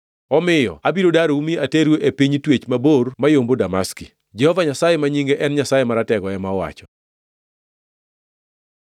omiyo abiro darou mi ateru e piny twech mabor mayombo Damaski,” Jehova Nyasaye, ma nyinge en Nyasaye Maratego, ema owacho.